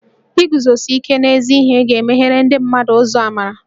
Iguzosi ike n'ezi ihe ga-emeghere ndị mmadụ ụzọ amarà